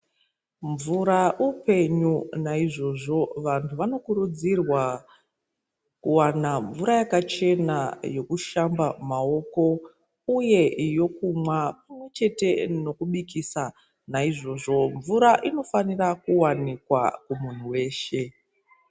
Mvura upenyu naizvozvo vanthu vanokurudzirwa kuwana mvura yakachena yekushamba maoko uye yokumwa pamwechete nokubikisa naizvozvo mvura inofanira kuwanikwa kumunthu weshe.